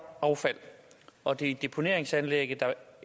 affald og det er deponeringsanlægget der